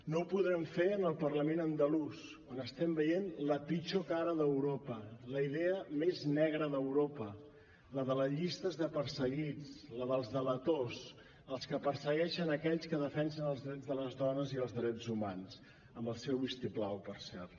no ho podrem fer en el parlament andalús on estem veient la pitjor cara d’europa la idea més negra d’europa la de llistes de perseguits la dels delators els que persegueixen aquells que defensen els drets de les dones i els drets humans amb el seu vistiplau per cert